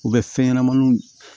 U bɛ fɛn ɲɛnamaninw